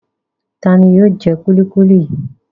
Ta ni yóò jẹ kúlíkúlí yìí?